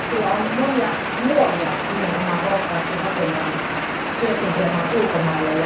Sillä on monia nuoria nimenomaan rohkaistu työskentelemään ulkomaille.